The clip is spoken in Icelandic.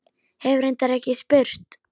Hef reyndar ekki spurt.